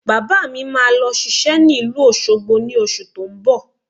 Bàbá mi máa lọ ṣiṣẹ́ ní ìlú Òṣogbo ní oṣù tó ń bọ̀